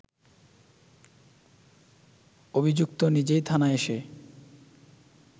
অভিযুক্ত নিজেই থানায় এসে